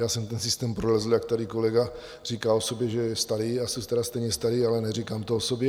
Já jsem ten systém prolezl, jak tady kolega říkal o sobě, že je starý, já jsem tedy stejně starý, ale neříkám to o sobě.